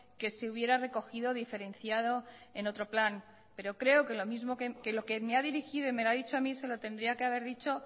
que se hubiera recogido diferenciado en otro plan pero creo que lo que me ha dirigido y me lo ha dicho a mí se lo tendría que haber dicho